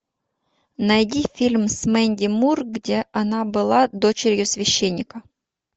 найди фильм с мэнди мур где она была дочерью священника